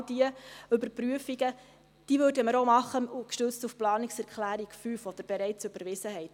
Genau diese Überprüfungen würden wir auch gestützt auf die Planungserklärung 5 machen, die Sie bereits überwiesen haben.